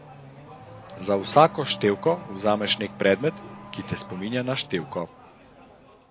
Za vsako števko vzameš nek predmet, ki te spominja na števko.